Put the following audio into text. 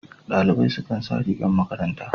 Dalibai su kan sa rigar makaranta.